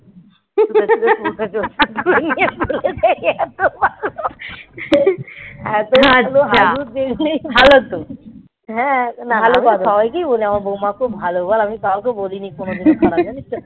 হাগু নিয়ে তুলে দেয় এত ভালো এত ভালো হ্যাঁ ভালো তো সবাইকে বলি আমার বৌমা খুব ভালো বল আমি কাউকে বলিনি কোনদিন জানিস তো